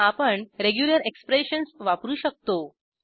आपण regular expressions वापरू शकतो